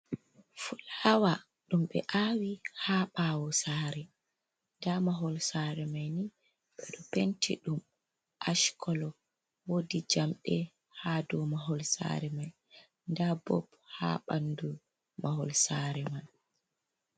Fulawa dum be awi ha ɓawo sare, da mahol sare mai ni be do penti dum ashkolo wodi jamde ha do mahol sare mai da bob ha bandu mahol sare man.